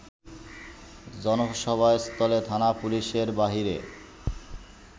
জনসভাস্থলে থানা পুলিশের বাইরে